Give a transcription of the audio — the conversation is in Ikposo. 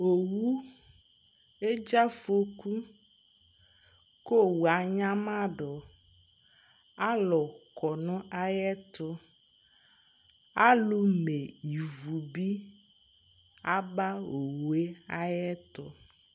owu edze afɔku ko owu anyamado alo kɔ no ayɛto alo me ivu bi aba owue ayɛto